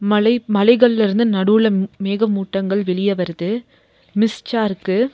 மலை மலைகள்ல இருந்து நடுவுல ம் மேகமூட்டங்கள் வெளிய வருது மிஸ்டா இருக்கு.